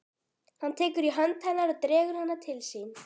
Hann tekur í hönd hennar og dregur hana til sín.